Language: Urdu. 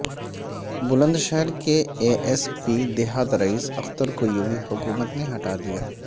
بلند شہرکے اے ایس پی دیہات رئیس اخترکویوگی حکومت نے ہٹا دیا